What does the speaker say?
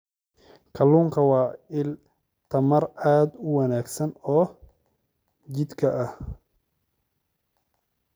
Kalluunku waa il tamar aad u wanaagsan oo jidhka ah.